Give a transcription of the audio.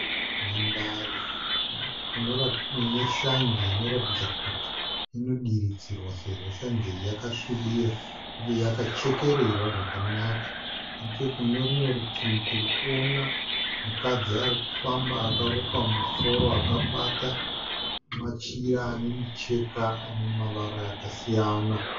Nhandare inorati ineshanje inoratidza kuti inodiridzirwa sezvo shanje iyi yakasvibira, uye yakachekererwa zvakanaka. Nechekunerumwe rutivi tiri kuona mukadzi arikufamba akarukwa musoro akabata machira ane micheka ane mavara akasiyana .